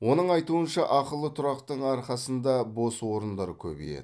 оның айтуынша ақылы тұрақтың арқасында бос орындар көбейеді